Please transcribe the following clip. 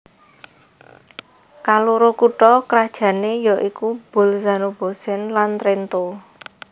Kaloro kutha krajané ya iku Bolzano Bozen lan Trento